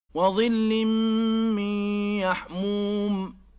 وَظِلٍّ مِّن يَحْمُومٍ